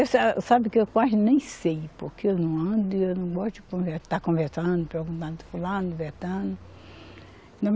Eu sa, sabe que eu quase nem sei, porque eu não ando e eu não gosto de conve, estar conversando, perguntando fulano, beltrano